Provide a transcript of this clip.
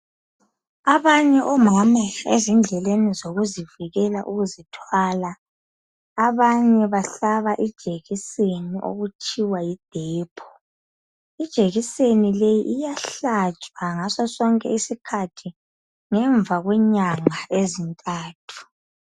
Abanye omama ezindleleni zokuzivikela ukuzithwala abanye bahlaba ijekiseni okuthiwa yidepo. Ijekiseni le iyahlatshwa ngaso sonke isikhathi ngemva kwenyanga ezintathu.